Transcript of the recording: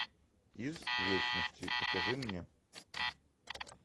из вечности покажи мне